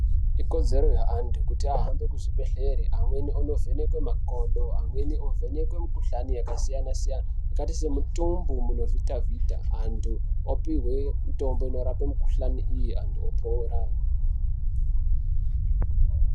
Ikodzero yeantu kuti ahambe kuzvibhedhlera amweni avhenekwe makodo amweni ovhenekwe mikuhlani yakasiyana siyana makaita semitumbu munovhita vhita ,antu opihwe mitombo inorapa mikuhlani iyii antu opora .